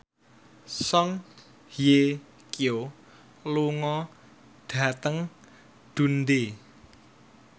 Song Hye Kyo lunga dhateng Dundee